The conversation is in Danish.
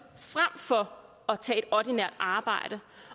frem for at tage et ordinært arbejde